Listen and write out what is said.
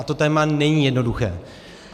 A to téma není jednoduché.